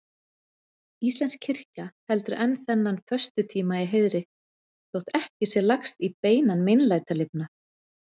Íslensk kirkja heldur enn þennan föstutíma í heiðri, þótt ekki sé lagst í beinan meinlætalifnað.